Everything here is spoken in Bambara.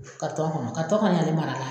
kɔnɔ mara